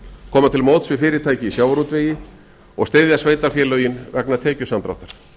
koma til mótsvið fyrirtæki í sjávarútvegi og styðja sveitarfélögin vegna tekjusamdráttar